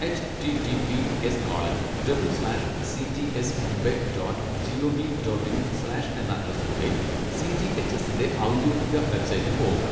H T T P S colon double slash C G S Mumbai dot G O V dot in slash എന്ന അഡ്രസ്സിലൂടെ C. G. H. എസിൻ്റെ ഔദ്യോഗിക web സൈറ്റിൽ പോവുക.